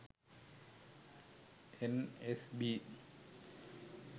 nsb